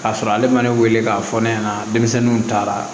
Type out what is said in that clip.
K'a sɔrɔ ale ma ne wele k'a fɔ ne ɲɛna denmisɛnninw taara